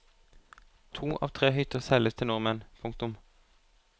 To av tre hytter selges til nordmenn. punktum